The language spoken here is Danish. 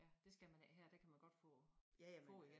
Ja det skal man ikke her der kan man godt få få igen